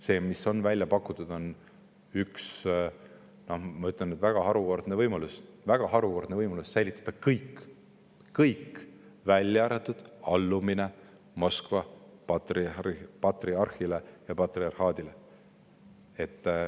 See, mis on välja pakutud, on üks, ma ütleksin, väga harukordne võimalus: säilitada kõik, välja arvatud allumine Moskva patriarhile ja patriarhaadile.